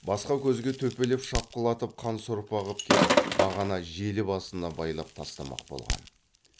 басқа көзге төпелеп шапқылатып қан сорпа қып кеп бағана желі басына байлап тастамақ болған